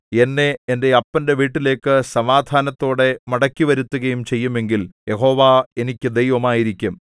എന്നെ എന്റെ അപ്പന്റെ വീട്ടിലേക്ക് സമാധാനത്തോടെ മടക്കിവരുത്തുകയും ചെയ്യുമെങ്കിൽ യഹോവ എനിക്ക് ദൈവമായിരിക്കും